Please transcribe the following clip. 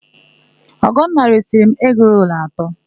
Ọgọnna resịrị m egirolu atọ.